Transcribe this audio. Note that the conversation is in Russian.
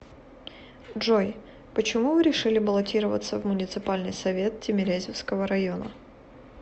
джой почему вы решили баллотироваться в муниципальный совет тимирязевского района